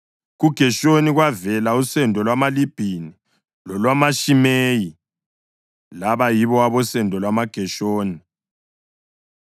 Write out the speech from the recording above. KuGeshoni kwavela usendo lwamaLibhini lolwamaShimeyi; laba yibo abosendo lwamaGeshoni.